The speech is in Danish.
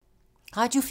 Radio 4